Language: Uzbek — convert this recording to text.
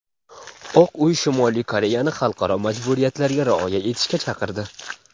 Oq uy Shimoliy Koreyani xalqaro majburiyatlarga rioya etishga chaqirdi.